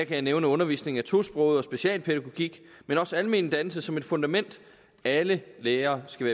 jeg nævne undervisning af tosprogede og specialpædagogik men også almen dannelse som et fundament alle lærere skal